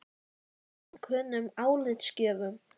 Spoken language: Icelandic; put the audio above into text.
Eða valinkunnum álitsgjöfum?